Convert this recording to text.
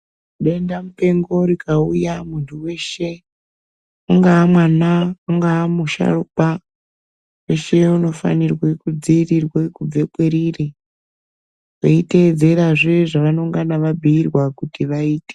Denda mupengo rikauya muntu weshe ungawa mwana kana kana musharukwa muntu weshe unofano kudzivirirwa kubve kweriri kweiteedzerazve zvavanengana vabhiirwa kuti vaite.